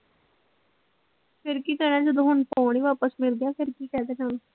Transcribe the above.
ਫਿਰ ਕੀ ਕਹਿਣਾ ਜਦੋਂ ਹੁਣ ਫੋਨ ਹੀ ਵਾਪਿਸ ਮਿਲ ਗਿਆ ਫਿਰ ਕੀ ਕਹਿ ਦੇਣਾ ਉਹਨੂੰ।